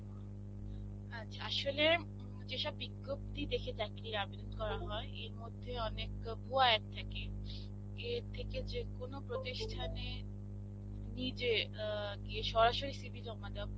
আচ্ছা, আসলে যেসব বিজ্ঞপ্তি দেখে চাকরির আবেদন করা হয়. এরমধ্যে অনেক ভুয়ো ad থাকে. এর থেকে যেকোনো প্রতিষ্ঠানে নিজে ইইয়ে গিয়ে সরাসরি CV জমা দেওয়া